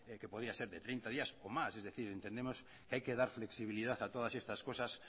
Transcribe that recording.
que podría ser de treinta días o más es decir entendemos que hay que dar flexibilidad a todas estas cosas